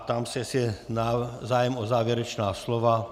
Ptám se, jestli je zájem o závěrečná slova.